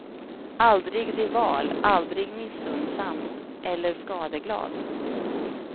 Aldrig rival, aldrig missunnsam eller skadeglad.